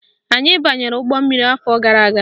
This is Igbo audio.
Anyị banyere ụgbọmmiri afọ gara aga.